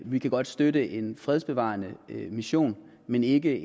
vi kan godt støtte en fredsbevarende mission men ikke